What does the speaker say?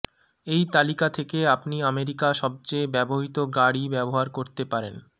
এই তালিকা থেকে আপনি আমেরিকা সবচেয়ে ব্যবহৃত গাড়ী ব্যবহার করতে পারেন